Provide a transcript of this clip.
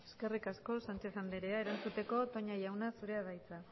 eskerrik asko sánchez anderea erantzuteko toña jauna zurea da hitza